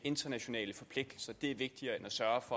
er det